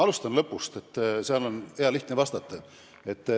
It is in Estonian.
Alustan lõpust, sellele on hea lihtne vastata.